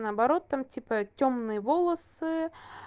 наоборот там типа тёмные волосы